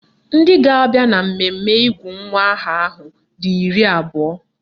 Ndị ga-abịa na mmemme ịgụ nwa aha ahụ dị iri abụọ